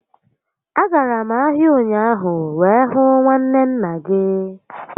A gara m ahia ụnyaahụ wee hụ nwanne nna gị